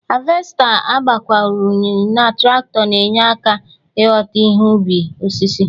Havesta agbakwunyere na trakitọ na-enye aka ịghọta ihe ubi osisi.